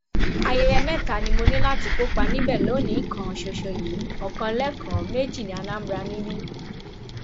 ayẹyẹ mẹta ni mo ní láti kópa níbẹ lónìín kan ṣoṣo yìí ọkan lẹkọọ méjì ní anambra níbí